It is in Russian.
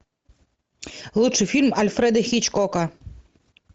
лучший фильм альфреда хичкока